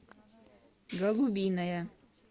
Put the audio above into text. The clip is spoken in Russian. голубиная